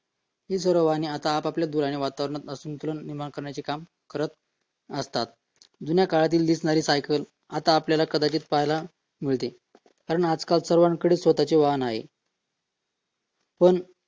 ही सर्व वाहने आपापल्या धुरामुळे वातावरणात आज संतुलन निर्माण करण्याचे कार्य करत आहे जुन्या काळात आपणास दिसणारी सायकल आता आपणास कदाचित दिसायला मिळते कारण आजकाल सगळ्यांकडे स्वतःचे वाहन आहे पण